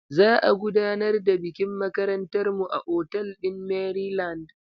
Za a gudanar da bikin makarantar mu a otal ɗin Maryland.